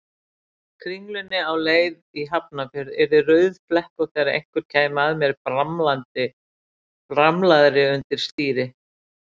Kringlunni á leið í Hafnarfjörð yrði rauðflekkótt þegar einhver kæmi að mér bramlaðri undir stýri.